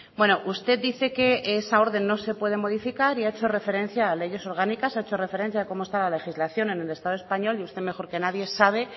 bueno usted dice que esa orden no se puede modificar y ha hecho referencia a leyes orgánicas ha hecho referencia a cómo está la legislación en el estado español y usted mejor que nadie sabe